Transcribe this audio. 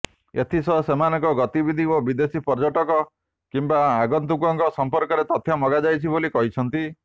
ଏଥିସହ ସେମାନଙ୍କ ଗତିବିଧି ଓ ବିଦେଶୀ ପର୍ଯ୍ୟଟକ କିମ୍ବା ଆଗନ୍ତୁକଙ୍କ ସଂପର୍କରେ ତଥ୍ୟ ମାଗାଯାଇଛି ବୋଲି କହିଛନ୍ତି